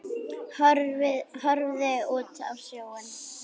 Horfði út á sjóinn.